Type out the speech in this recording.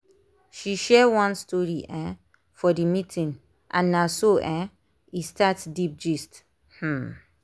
she share one story um for the meeting and na so um e start deep gist. um